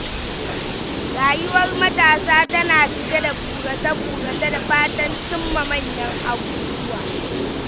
Rayuwar matasa tana cike da burace-burace da fatan cimma manyan abubuwa.